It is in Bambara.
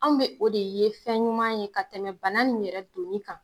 Anw be o de ye fɛn ɲuman ye ka tɛmɛ bana nin yɛrɛ donni kan